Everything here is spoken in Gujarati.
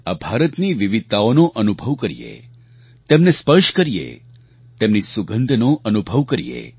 આ ભારતની વિવિધતાઓનો અનુભવ કરીએ તેમને સ્પર્શ કરીએ તેમની સુગંધનો અનુભવ કરીએ